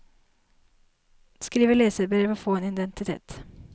Skrive leserbrev og få en identitet.